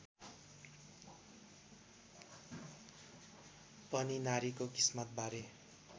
पनि नारीको किस्मतबारे